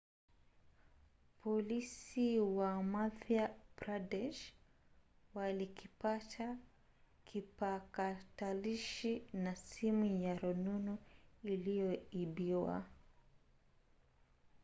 polisi wa madhya pradesh walikipata kipakatalishi na simu ya rununu iliyoibwa